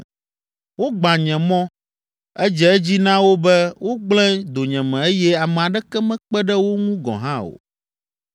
Wogbã nye mɔ, edze edzi na wo be wogblẽ donyeme eye ame aɖeke mekpe ɖe wo ŋu gɔ̃ hã o.